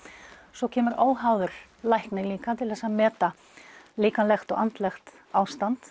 svo kemur óháður læknir líka til að meta líkamlegt og andlegt ástand